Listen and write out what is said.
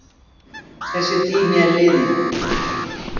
Þessi tími er liðinn.